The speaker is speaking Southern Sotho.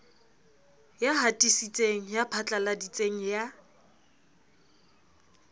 ya hatisitseng ya phatlaladitseng ya